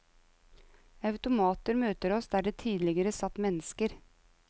Automater møter oss der det tidligere satt mennesker.